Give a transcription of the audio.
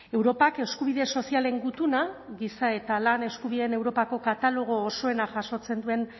europak eskubide sozialen gutuna giza eta lan eskubideen europako katalogo osoena jasotzen duen